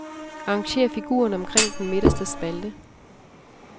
Arrangér figurerne omkring den midterste spalte.